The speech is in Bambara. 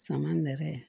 Sama nɛrɛ ye